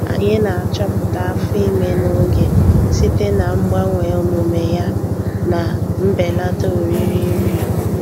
Anyị na-achọpụta afọ ime n'oge site na mgbanwe omume yana mbelata oriri nri.